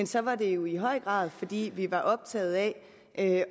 så var det jo i høj grad fordi vi var optaget af